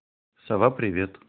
сова привет